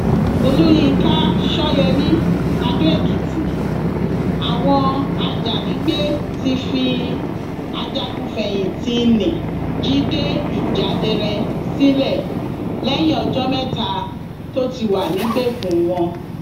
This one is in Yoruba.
olùyinka ṣọyẹmi adóèkìtì àwọn ajànigbé ti fi ajagunfẹyìntì ńnì jíde ìjáderẹ sílẹ lẹyìn ọjọ mẹta tó ti wà nígbèkùn wọn